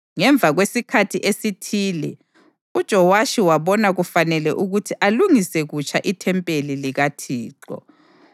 Ngemva kwesikhathi esithile uJowashi wabona kufanele ukuthi alungise kutsha ithempeli likaThixo.